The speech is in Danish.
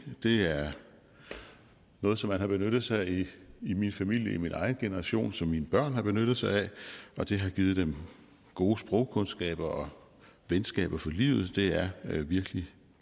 det er noget som man har benyttet sig af i min familie i min egen generation og som mine børn har benyttet sig af og det har givet dem gode sprogkundskaber og venskaber for livet det er virkelig